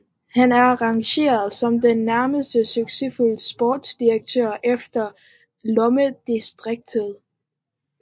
Han er rangeret som den næstmest succesfulde sportsdirektør efter Lomme Driessens